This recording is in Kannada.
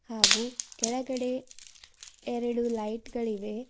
ಹಾಗು ಕೆಳಗಡೆ ಎರಡು ಲೈಟ್ ಗಳಿವೆ.